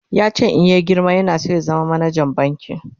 yace in ya girma yana San ya zama manajan banki